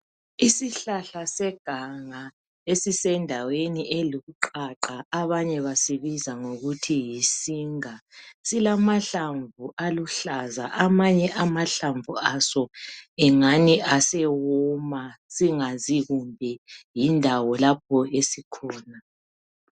Isihlahla seganga eesisendaweni eluqaqa abanye basibiza ngokuthi yisinga. Silamahlamvu aluhlaza, amanye amahlamvu aso engani asewoma singazi kumbe yindawo lapho esikhona.